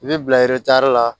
I bɛ bila eretari la